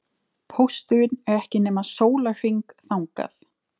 Pósturinn er ekki nema sólarhring þangað.